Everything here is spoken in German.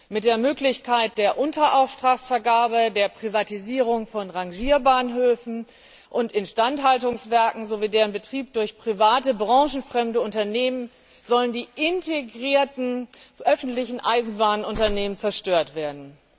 Mit der Möglichkeit der Unterauftragsvergabe, der Privatisierung von Rangierbahnhöfen und Instandhaltungswerken sowie deren Betrieb durch private, branchenfremde Unternehmen sollen die integrierten öffentlichen Eisenbahnunternehmen zerstört werden.